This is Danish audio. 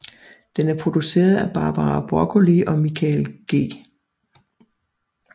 Den er produceret af Barbara Broccoli og Michael G